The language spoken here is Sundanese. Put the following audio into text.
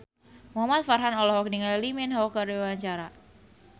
Muhamad Farhan olohok ningali Lee Min Ho keur diwawancara